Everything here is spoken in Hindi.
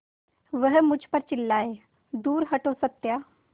वह मुझ पर चिल्लाए दूर हटो सत्या